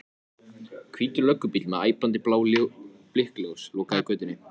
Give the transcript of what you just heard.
Ormi Sturlusyni vafðist tunga um tönn.